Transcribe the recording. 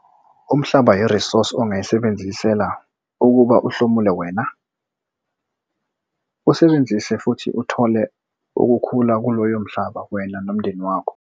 Umhlaba yi-resource ongayisebenzisela ukuba kuhlomule wena - usebenzise futhi uthole okukhulu kuloyo mhlaba wena nomndeni wakho.